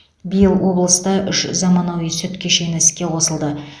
биыл облыста үш заманауи сүт кешені іске қосылды